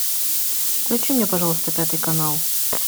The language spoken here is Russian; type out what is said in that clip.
включи мне пожалуйста пятый канал